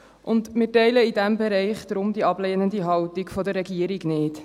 Deshalb teilen wir in diesem Bereich die ablehnende Haltung der Regierung nicht.